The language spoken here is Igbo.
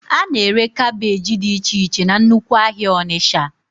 A na-ere kaabéji dị iche iche na nnukwu ahịa Onitsha